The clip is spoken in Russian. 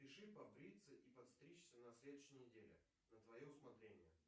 запиши побриться и постричься на следующей неделе на твое усмотрение